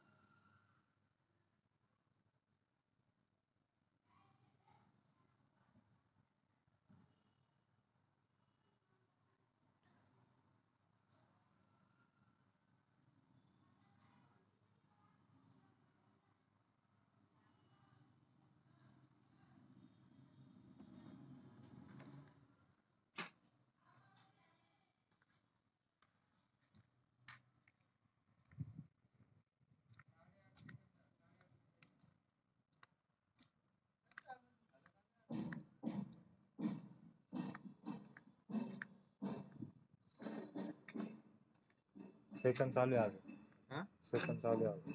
session चालूये आता session चालूये